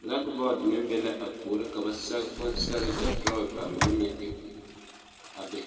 black board meng be la a poɔring ka ba sege bonseɛree kye draw ba mene meng eng a bɛ.